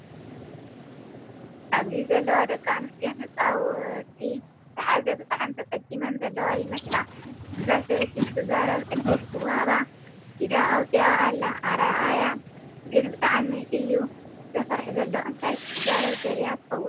ኣብዚ ዘለዋ ደቂ ኣንሰትዮን ህፃውቲ ዝሓዘ ብጣዕሚ ተፀጊመን ዘለዋ ይመስላ። እዛ ሰበይቲ ክትዛረብ ዕድል ክወሃባ ኢዳ ኣውፂኣ ኣላ። ኣረኣያ ግን ብጣዕሚ እዩ ዘፍርሕ ዘሎ እንታይ ክትዛረብ ደልያ ትከውን።